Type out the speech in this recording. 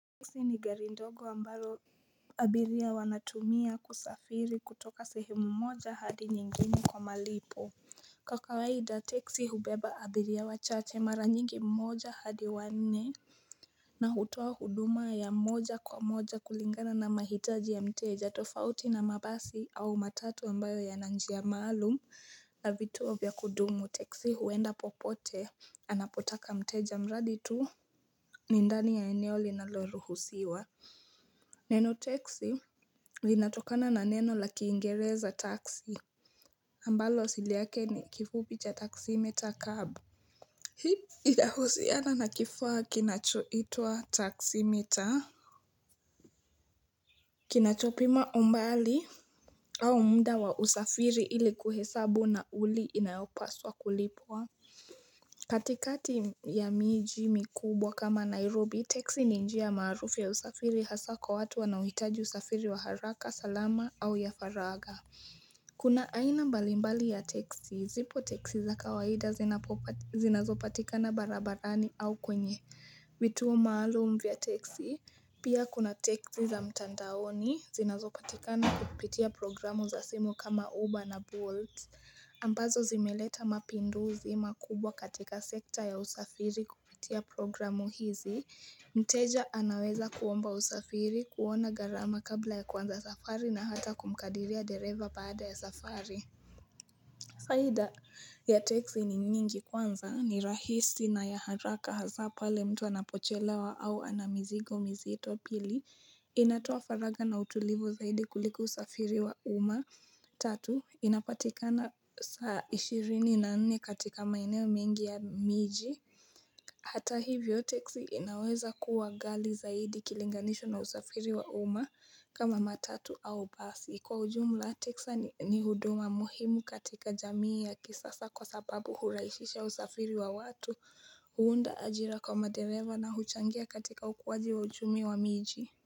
Teksi ni gari ndogo ambayo abiria wanatumia kusafiri kutoka sehemu moja hadi nyingine kwa malipo Kwa kawaida teksi hubeba abiria wachache mara nyingi mmoja hadi wanne na hutoa huduma ya moja kwa moja kulingana na mahitaji ya mteja tofauti na mabasi au matatu ambayo yana njia maalum na vituo vya kudumu teksi huenda popote Anapotaka mteja mradi tu ni ndani ya eneo linaloruhusiwa Neno teksi linatokana na neno la kiingereza taksi ambalo asili yake ni kifupi cha taximeter xcab. Hii inahusiana na kifaa kinachoitwa taximeter Kinachopima umbali au mda wa usafiri ili kuhesabu nauli inayopaswa kulipwa katikati ya miji mikubwa kama Nairobi, teksi ni njiya maarufu ya usafiri hasa kwa watu wanaohitaji usafiri wa haraka, salama au ya faragha. Kuna aina mbalimbali ya teksi, zipo teksi za kawaida zinazopatikana barabarani au kwenye. Vituo maalum vya teksi, pia kuna teksi za mtandaoni, zinazopatikana kupitia programu za simu kama Uber na Bolt. Ambazo zimeleta mapinduzi makubwa katika sekta ya usafiri kupitia programu hizi. Mteja anaweza kuomba usafiri, kuona gharama kabla ya kuanza safari na hata kumkadiria dereva baada ya safari. Faida ya teksi ni nyingi kwanza ni rahisi na ya haraka hasa pale mtu anapochelewa au ana mizigo mizito pili inatoa faragha na utulivu zaidi kuliko usafiri wa umma tatu inapatikana saa ishirini na nne katika maeneo mengi ya miji Hata hivyo teksi inaweza kuwa ghali zaidi ikilinganishwa na usafiri wa umma kama matatu au basi kwa ujumla texa ni huduma muhimu katika jamii ya kisasa kwa sababu huraishisha usafiri wa watu huunda ajira kwa madereva na huchangia katika ukuwaji wa uchumi wa miji.